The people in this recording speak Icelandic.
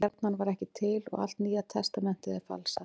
Stjarnan var ekki til og allt Nýja testamentið er falsað.